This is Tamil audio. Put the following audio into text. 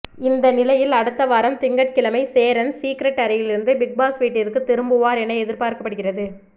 இந்த நிலையில் அடுத்த வாரம் திங்கட்கிழமை சேரன் சீக்ரெட் அறையிலிருந்து பிக்பாஸ் வீட்டிற்கு திரும்புவார் என எதிர்பார்க்கப்படுகிறது